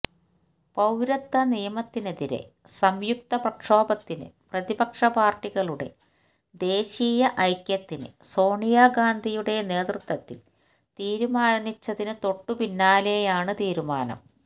പൌരത്വ നിയമത്തിനെതിരെ സംയുക്ത പ്രക്ഷോഭത്തിനു പ്രതിപക്ഷ പാർട്ടികളുടെ ദേശീയ ഐക്യത്തിന് സോണിയ ഗാന്ധിയുടെ നേതൃത്വത്തിൽ തീരുമാനിച്ചതിനു തൊട്ടുപിന്നാലെയാണ് തീരുമാനം